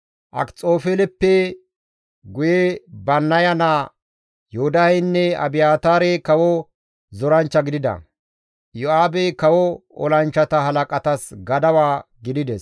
Akxofeeleppe guye Bannaya naa Yoodaheynne Abiyaataarey kawo zoranchcha gidida; Iyo7aabey kawo olanchchata halaqatas gadawa gidides.